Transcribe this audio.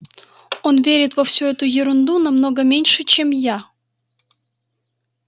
он верит во всю эту ерунду намного меньше чем я